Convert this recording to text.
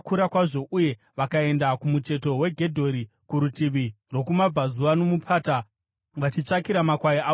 uye vakaenda kumucheto kweGedhori kurutivi rwokumabvazuva nomupata vachitsvakira makwai avo mafuro.